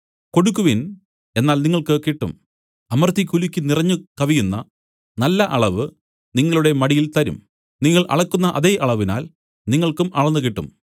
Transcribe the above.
കൊടുക്കുവിൻ എന്നാൽ നിങ്ങൾക്ക് കിട്ടും അമർത്തി കുലുക്കി നിറഞ്ഞു കവിയുന്ന നല്ല അളവ് നിങ്ങളുടെ മടിയിൽ തരും നിങ്ങൾ അളക്കുന്ന അതേ അളവിനാൽ നിങ്ങൾക്കും അളന്നുകിട്ടും